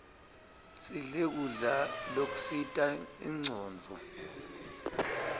sidle kudla lokusita incondvo